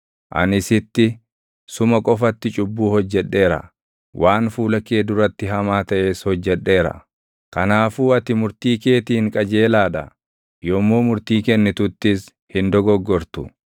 Ani sitti, suma qofatti cubbuu hojjedheera; waan fuula kee duratti hamaa taʼes hojjedheera; kanaafuu ati murtii keetiin qajeelaa dha; yommuu murtii kennituttis hin dogoggortu.